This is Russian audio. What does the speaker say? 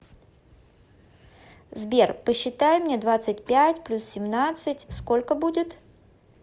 сбер посчитай мне двадцать пять плюс семнадцать сколько будет